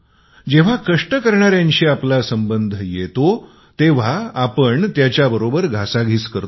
जेंव्हा कष्ट करणाऱ्यांशी आपला संबध येतो तेव्हा आपण त्याच्याशी मालाचा भाव करतो